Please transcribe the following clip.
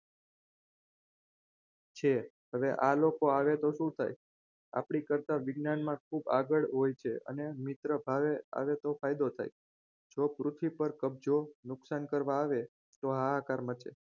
હવે આ લોકો આવે તો શું થાય આપણી કરતાં વિજ્ઞાનમાં ખૂબ આગળ હોય છે અને મિત્ર ભાવે આવે તો ફાયદો થાય જો પૃથ્વી પર કબજો નુકસાન કરવા આવે તો હાહાકાર મચે